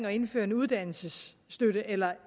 at indføre en uddannelsesstøtte eller